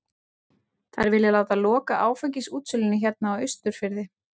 Þær vilja láta loka áfengisútsölunni hérna á Austurfirði!